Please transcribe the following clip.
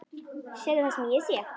Sérðu það sem ég sé?